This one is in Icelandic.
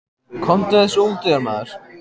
Komdu þessu út úr þér, maður!